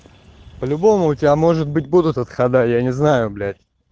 по-любому у тебя может быть будут отхода я не знаю блять